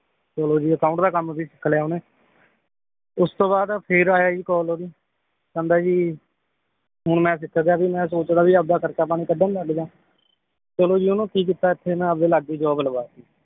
ਚਲੋ ਜੀ account ਦਾ ਕੰਮ ਵੀ ਸਿੱਖ ਲਿਆ ਓਹਨੇ ਉਸ ਤੋਂ ਬਾਅਦ ਫਿਰ ਆਇਆ ਜੀ call ਓਹਦੀ ਕਹਿੰਦਾ ਜੀ ਹੁਣ ਮੈ ਸਿੱਖ ਗਿਆ ਵੀ ਮੈ ਸੋਚਦਾ ਵੀ ਆਪਦਾ ਖਰਚਾ ਪਾਣੀ ਕੱਢਣ ਲੱਗ ਜਾਂ ਚਲੋ ਜੀ ਓਹਨੂੰ ਕੀ ਕੀਤਾ ਇਥੇ ਨਾ ਆਪਦੇ ਲਾਗੇ ਈ ਜੌਬ ਲਵਾਤੀ